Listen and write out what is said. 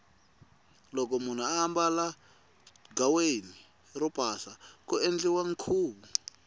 loko munhu ambala ghaweni ro pasa ku endliwa nkhuvu